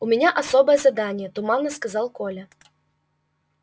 у меня особое задание туманно сказал коля